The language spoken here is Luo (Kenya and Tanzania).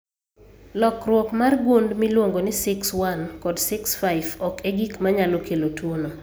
Lokruok mar gund miluongo ni SIX1 kod SIX5 ok e gik ma nyalo kelo tuwono